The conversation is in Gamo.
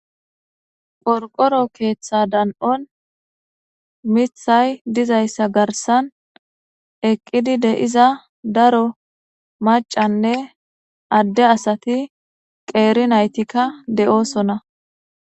Porqoro keeththa dan7on mithay dizayssa garsan eqqidi de7iza daro macanne adde asati qeeri naytikka de7oosona